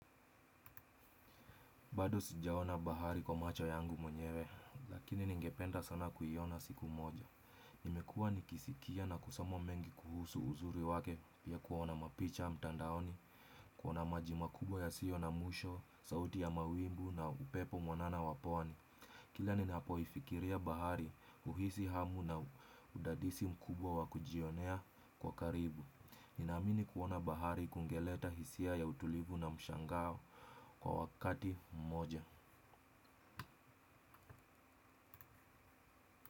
Bado sijaona bahari kwa macho yangu mwenyewe. Lakini ningependa sana kuiona siku moja. Nimekua nikisikia na kusoma mengi kuhusu uzuri wake, pia kuona mapicha mtandaoni. Kuona maji makubwa yasiyo na mwisho, sauti ya mawimbi na upepo mwanana wa pwani. Kila ninapo ifikiria bahari, huhisi hamu na udadisi mkubwa wakujionea kwa karibu. Ninaamini kuona bahari kungeleta hisia ya utulivu na mshangao kwa wakati mmoja.